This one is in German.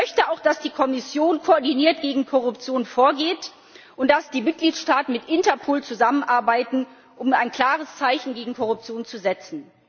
Ich möchte auch, dass die Kommission koordiniert gegen Korruption vorgeht und dass die Mitgliedstaaten mit Interpol zusammenarbeiten, um ein klares Zeichen gegen Korruption zu setzen.